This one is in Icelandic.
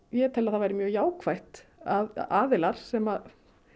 ég tel að það væri mjög jákvætt ef aðilar sem